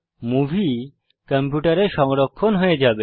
movie কম্পিউটারে সংরক্ষণ হয়ে যাবে